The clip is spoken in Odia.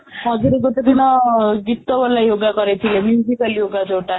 ଆଗରୁ ଗୋଟେ ଦିନ ଗୀତ ବୋଲି yoga କରିଥିଲେ ally yoga ଯୋଉଟା